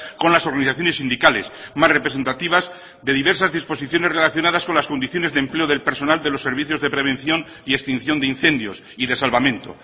con las organizaciones sindicales más representativas de diversas disposiciones relacionadas con las condiciones de empleo del personal de los servicios de prevención y extinción de incendios y de salvamento